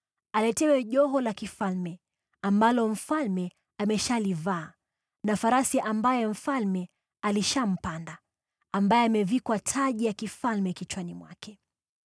aletewe joho la kifalme ambalo mfalme ameshalivaa na farasi ambaye mfalme alishampanda, ambaye amevikwa taji ya kifalme kichwani mwake.